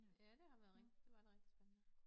Ja det har været det var rigtig spændende